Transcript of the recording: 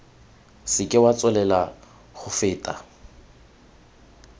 seke wa tswelela go feta